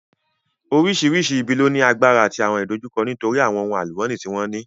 Oríṣiríṣi ibi ló ní agbára àti àwọn ìdojúkọ nítorí àwọn ohun àlùmọ́nì tí wọ́n ní